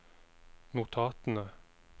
notatene